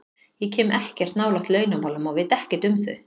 Ég kem ekkert nálægt launamálum og veit ekkert um þau.